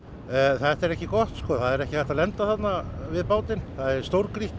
þetta er ekki gott það er ekki hægt að lenda þarna við bátinn það er stórgrýtt